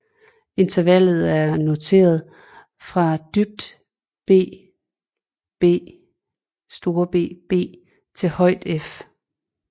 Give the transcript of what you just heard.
Intervalet er noteret fra dybt bbBb til højt F